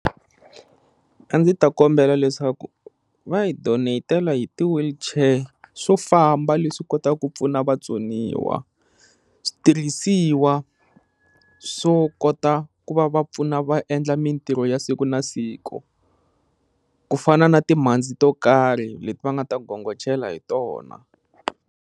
A ndzi ta kombela leswaku va hi donate-la hi ti-wheelchair swo famba leswi kotaka ku pfuna vatsoniwa, switirhisiwa swo kota ku va va pfuna va endla mintirho ya siku na siku ku fana na timhandzi to karhi leti va nga ta gongochela hi tona.